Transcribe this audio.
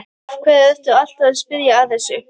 Af hverju ertu alltaf að spyrja að þessu?